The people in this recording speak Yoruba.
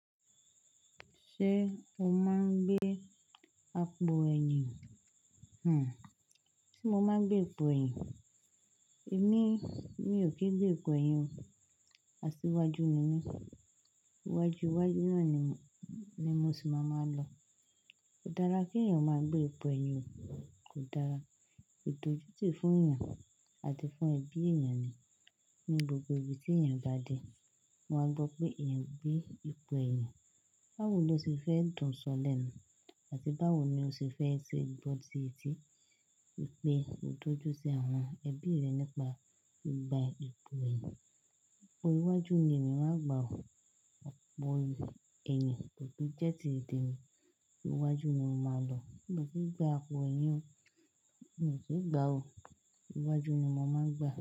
Ṣé o máa ń gbé àpò ẹ̀yìn? Hmmm, sé mo máa ń gbé ipò ẹ̀yìn? Èmi, mi ò kí ń gbé ipò ẹ̀yìn o. Asíwájú ni mí. Iwájú, iwájú náà ni, ni mo sì máa máa lọ. Kò dára kí èèyàn ó máa gbé ipò ẹ̀yìn o, kò dára. Idojutì fún èèyàn àti fún ẹbí èèyàn ni. Ní gbogbo ibi tí èèyàn bá dé, wọn áa gbọ́ pé èèyàn gbé ipò eyan. Báwo lo ṣe fẹ́ dùn sọlẹ́nu? Àti báwo ni o ṣe fẹ́ ṣe ìbọn tí, tí pé o dojú sí àwọn ẹbí rẹ nípa gba ipò ẹ̀yìn? Orí iwájú ni èmi máa gbà o. Àpò ẹ̀yìn kò tun jẹ́ ti tè mi. Iwájú mo máa maa lọ. Mo kin gba pò ẹ̀yìn o. Mi ò tu gba o. Iwájú ni mo máa ń gba.